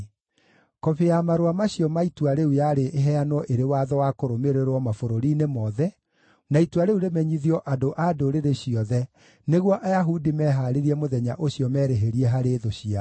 Kobi ya marũa macio ma itua rĩu yarĩ ĩheanwo ĩrĩ watho wa kũrũmĩrĩrwo mabũrũri-inĩ mothe, na itua rĩu rĩmenyithio andũ a ndũrĩrĩ ciothe, nĩguo Ayahudi mehaarĩrie mũthenya ũcio merĩhĩrie harĩ thũ ciao.